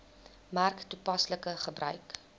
merk toepaslike gebruik